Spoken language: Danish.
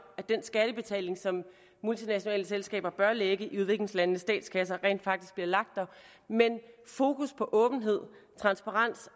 at den skattebetaling som multinationale selskaber bør lægge i udviklingslandenes statskasser rent faktisk bliver lagt der men fokus på åbenhed transparency